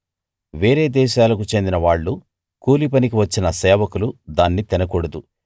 వేరే దేశాలకు చెందిన వాళ్ళు కూలి పనికి వచ్చిన సేవకులు దాన్ని తినకూడదు